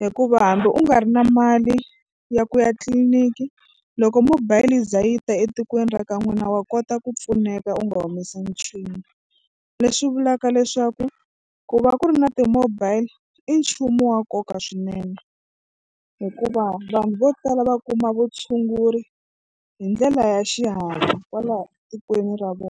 hikuva hambi u nga ri na mali ya ku ya tliliniki loko mobile yi za yi ta etikweni ra ka n'wina wa kota ku pfuneka u nga humesangi nchumu. Leswi vulaka leswaku ku va ku ri na ti-mobile i nchumu wa nkoka swinene hikuva vanhu vo tala va kuma vutshunguri hi ndlela ya xihatla kwala tikweni ra vona.